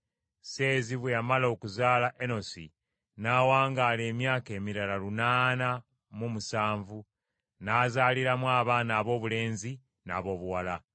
Seezi bwe yamala okuzaala Enosi n’awangaala emyaka emirala lunaana mu musanvu n’azaaliramu abaana aboobulenzi n’aboobuwala.